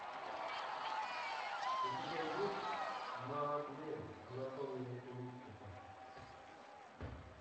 у тебя есть маадлен анатомия инкуба